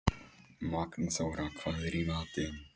Magnþóra, hvað er í matinn?